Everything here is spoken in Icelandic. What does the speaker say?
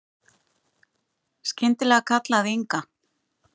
Skyndilega kallaði Inga